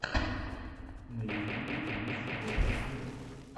на ютьюбе принц ройс вево